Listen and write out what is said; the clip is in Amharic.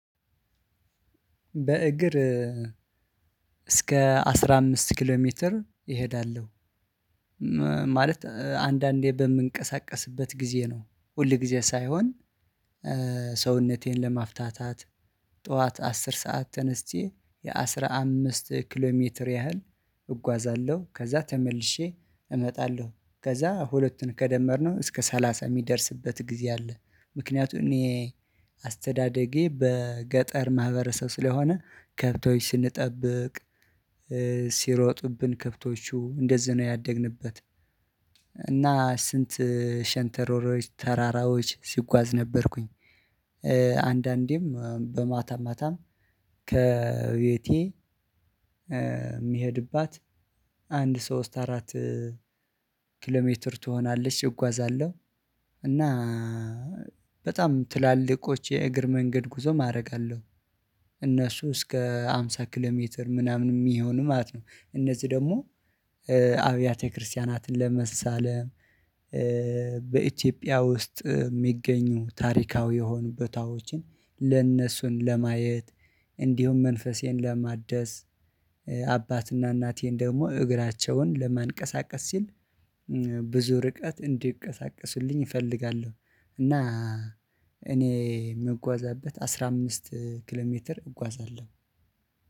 በእግር እስከ አስራ አምስት ኪሎ ሜትር እሄዳለሁ። ማለት አንዳንዴ በምንቀሳቀስበት ጊዜ ነው ሁል ጊዜ ሳይሆን። ሰውነቴን ለማፍታት ጠዋት አስር ሰዓት ተነስቼ የአሥራ አምስት ኪሎ ሜትር ያህል እጓዛለሁ ከዛ ተመልሼ እመጣለሁ ከዛ ሁለቱን ከደመርነው እስከ ሰላሳ የሚደርስበት ጊዜ አለ። ምክንያቱም እኔ አስተዳደጌ በገጠር ማህበረሰብ ስለሆነ ከብቶች ስንጠብቅ ሲሮጡብን ከብቶቹ እንደዚህ ነው ያደግንበት። እና ስንት ሸንተሮሮች ተራራዎች ሲጓዝ ነበርኩኝ አንዳንዴም በማታ ማታም ከቤቴ የሚሄድባት አንድ ሶስት አራት ኪሎሜትር ትሆናለች እጓዛለሁ። እና በጣም ትላልቆች የእግር መንገድ ጉዞ ማድረግ አለው እስከ ሃምሳ ኪሎ ሜትር ምናምን የሚሆን ማለት ነው። እነዚህ ደግሞ አብያተ ክርስቲያናትን ለመሳለም በኢትዮጵያ ውስጥ የሚገኙ ታሪካዊ የሆኑ በታዎችን ለእነሱን ለማየት እንዲሁም መንፈሴን ለማደስ አባትና እናቴን ደግሞ እግራቸውን ለማንቀሳቀስ ሲል ብዙ ርቀት እንዲቀሳቀሱልኝ እፈልጋለሁ። እና እኔ የምጓዛበት አስራ አምስት ኪሎ ሜትር እጓዛለሁ